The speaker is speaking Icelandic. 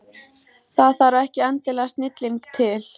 Það þarf ekki endilega snilling til.